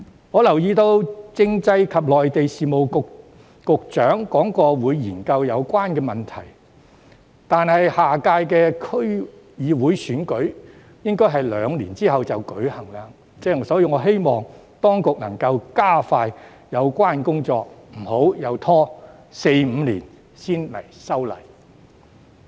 我留意到政制及內地事務局局長提到會研究有關問題，但下屆區議會選舉應會在兩年後舉行，所以我希望當局能夠加快有關工作，不要又拖四五年才修例。